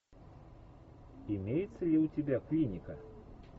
имеется ли у тебя клиника